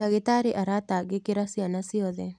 ndagītarī aratangīkīra ciana ciothe.